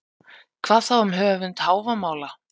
Hvað þá um höfund Hávamála?